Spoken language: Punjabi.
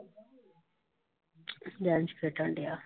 ਖੇਡਣ ਡਿਆ।